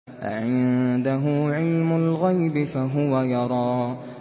أَعِندَهُ عِلْمُ الْغَيْبِ فَهُوَ يَرَىٰ